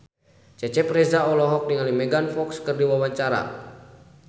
Cecep Reza olohok ningali Megan Fox keur diwawancara